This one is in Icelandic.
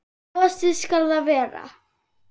Gosi skal það vera.